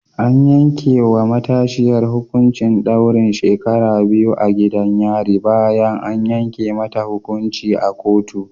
An yanke wa matashiyar hukuncin daurin shekaru biyu a gidan yari bayan an yanke mata hukunci a kotu